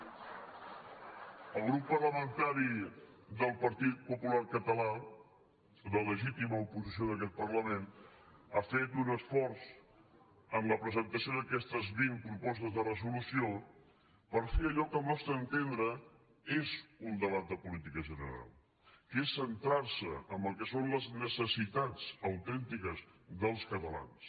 el grup parlamentari del partit popular català la le·gítima oposició d’aquest parlament ha fet un esforç en la presentació d’aquestes vint propostes de resolu·ció per fer allò que al nostre entendre és un debat de política general que és centrar·se en el que són les necessitats autèntiques dels catalans